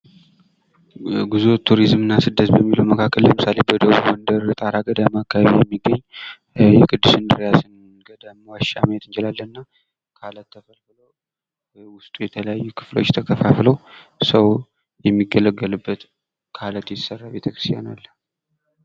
ጉዞ፣ ቶሪዝም እና ስደት በሚለው መካከል ላይ ለምሳሌ፦ ወደ ጣራ ገዳም የሚገኝ የቅዱስ እንድርያስ ገዳም ዋሻ መሄድ እንችላለን እና በዉስጡ የተለያዩ ክፍሎች ተከፋፍለው ሰው የሚገለገልበት ከአለት የተሰራ ቤተክርስቲያን አለ።